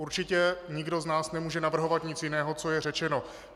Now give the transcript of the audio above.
Určitě nikdo z nás nemůže navrhovat nic jiného, co je řečeno.